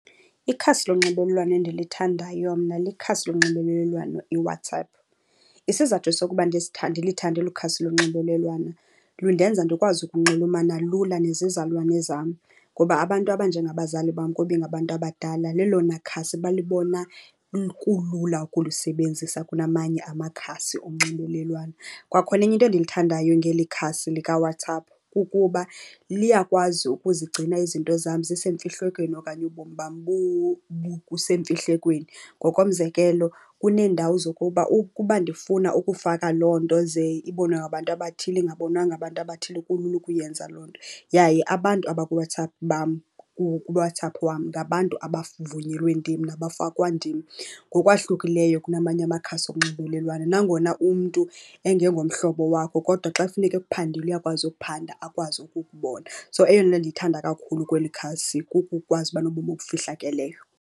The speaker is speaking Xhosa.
Ikhasi lonxibelelwano endilithandayo mna likhasi lonxibelelwano iWhatsApp. Isizathu sokuba ndilithande olu khasi lonxibelelwano lundenza ndikwazi ukunxulumana lula nezizalwane zam. Ngoba abantu abanjengabazali bam, kuba ingabantu abadala, lelona khasi balibona kulula ukulisebenzisa kunamanye amakhasi onxibelelwano. Kwakhona enye into endiyithandayo ngeli khasi likaWhatsApp kukuba liyakwazi ukuzigcina izinto zam zisemfihlekweni okanye ubomi bam busemfihlekweni. Ngokomzekelo, kuneendawo zokuba ukuba ndifuna ukufaka loo nto ze ibonwe ngabantu abathile ingabonwa ngabantu abathile kulula ukuyenza loo nto. Yaye abantu abakuWhatsApp bam, kuWhatsApp wam ngabantu abavunyelwe ndim nabafakwa ndim ngokwahlukileyo kunamanye amakhasi onxibelelwano. Nangona umntu engengomhlobo wakho kodwa xa kufuneke ekuphandile, uyakwazi ukuphanda akwazi ukukubona. So eyona nto ndiyithanda kakhulu kweli khasi kukukwazi uba nobomi obufihlakeleyo.